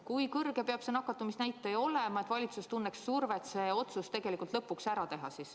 Kui kõrge peab see nakatumisnäitaja olema, et valitsus tunneks survet see otsus lõpuks ära teha?